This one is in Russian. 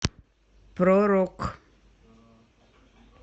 про рок